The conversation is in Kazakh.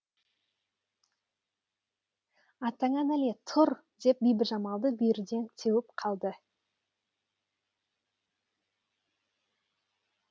атаңа нәлет тұр деп бибіжамалды бүйірден теуіп қалды